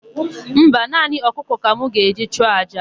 Mba, naanị ọkụkọ ka m ga-eji chụọ àjà.